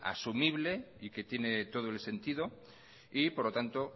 asumible y que tiene todo el sentido y por lo tanto